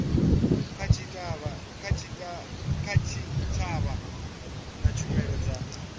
kha tshitshavha na tshumelo dza